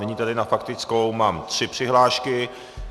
Nyní tedy na faktickou mám tři přihlášky.